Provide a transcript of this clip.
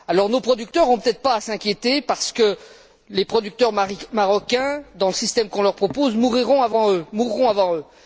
Nos producteurs n'ont peut être pas à s'inquiéter parce que les producteurs marocains, dans le système qu'on leur propose, mourront avant eux.